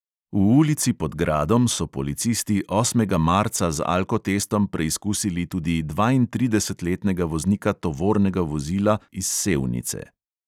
V ulici pod gradom so policisti osmega marca z alkotestom preizkusili tudi dvaintridesetletnega voznika tovornega vozila iz sevnice.